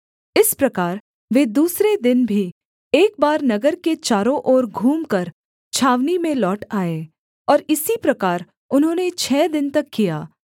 इस प्रकार वे दूसरे दिन भी एक बार नगर के चारों ओर घूमकर छावनी में लौट आए और इसी प्रकार उन्होंने छः दिन तक किया